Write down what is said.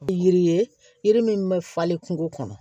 Yiri ye yiri min bɛ falen kungo kɔnɔ